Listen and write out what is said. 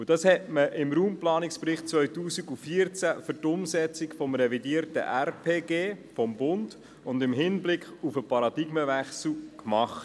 Und genau das hatte man mit dem Raumplanungsbericht 2014 im Hinblick auf die Umsetzung des revidierten Bundesgesetzes über die Raumplanung (Raumplanungsgesetz, RPG) und auf den Paradigmenwechsel gemacht.